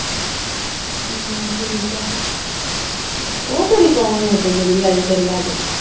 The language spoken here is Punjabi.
ਹਾ ਠੀਕ ਆ। ਉਹ ਕੁੜੀ ਕੌਣ ਹੀ ਓਦਣ ਜਿਹੜੀ ਆਈ ਹੀ ਤੇਰੇ ਲਾਗੇ?